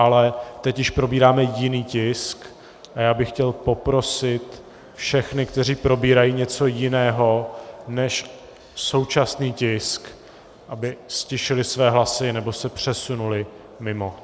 Ale teď již probíráme jiný tisk a já bych chtěl poprosit všechny, kteří probírají něco jiného než současný tisk, aby ztišili své hlasy nebo se přesunuli mimo.